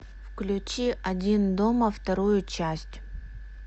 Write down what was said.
включи один дома вторую часть